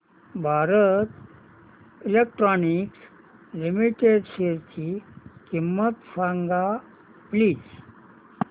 Bharat electronics limited शेअरची किंमत सांगा प्लीज